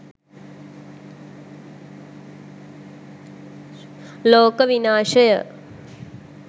loka vinashaya